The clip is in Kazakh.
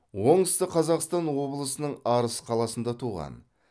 оңтүстік қазақстан облысының арыс қаласында туған